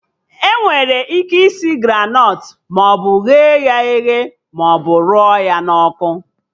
Enwere ike isi Granọt maọbụ ghe ya eghe maọbụ rụọ ya n'ọkụ